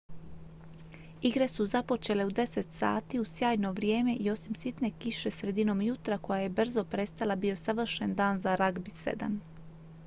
igre su započele u 10:00 h uz sjajno vrijeme i osim sitne kiše sredinom jutra koja je brzo prestala bio je savršen dan za ragbi 7